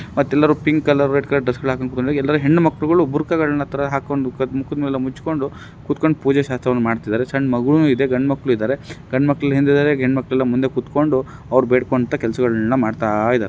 ಮತ್ತೆ ಎಲ್ಲರೂ pink colour ಮತ್ತು ರೆಡ್‌ ಕಲರ್ ಡ್ರೆಸ್‌ ಹಾಕಿಕೊಂಡು ಮತ್ತೆ ಎಲ್ಲಾ ಹೆಣ್ಣು ಮಕ್ಕಳು ಬುರ್ಕಗಳನ್ನು ಹಾಕೊಂಡು ಮುಖಗಳನ್ನು ಮುಚ್ಚಿಕೊಂಡು ಕೂತುಕೊಂಡು ಪೂಜೆ‌ ಶಾಸ್ತ್ರ ಮಾಡ್ತಾ ಇದ್ದಾರೆ ಸಣ್ಣ ಮಗು ಇದೆ ಗಂಡು ಮಕ್ಕಳು ಇದ್ದಾರೆ ಗಂಡು ಮಕ್ಕಳು ಹಿಂದೆ ಇದ್ದಾರೆ ಹೆಣ್ಣು ಮಕ್ಕಳು ಮುಂದೆ ಕೂತ್ಕೊಂಡು ಅವರು ಬೇಡಿಕೊಳ್ಳುತ್ತಾ ಕೆಲಸಗಳನ್ನು ಮಾಡ್ತಾ ಇದಾರೆ.